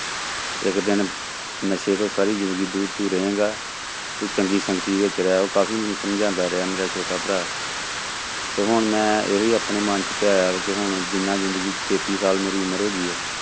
ਇੱਕ ਦਿਨ ਨਸ਼ੇ ਤੋਂ ਸਾਰੀ ਜ਼ਿੰਦਗੀ ਦੂਰ ਦੂਰ ਰਹੇਂਗਾ, ਤੂੰ ਚੰਗੀ ਸੰਗਤੀ ਵਿੱਚ ਰਹਿ, ਉਹ ਕਾਫ਼ੀ ਮੈਨੂੰ ਸਮਝਾਉਂਦਾ ਰਿਹਾ ਮੇਰਾ ਛੋਟਾ ਭਰਾ ਤੇ ਹੁਣ ਮੈਂ ਇਹੀ ਆਪਣੇ ਮਨ ਚ ਧਿਆਇਆ ਕਿ ਹੁਣ ਜਿੰਨਾ ਜ਼ਿੰਦਗੀ ਚ ਤੇਤੀ ਸਾਲ ਮੇਰੀ ਉਮਰ ਹੋ ਗਈ ਹੈ,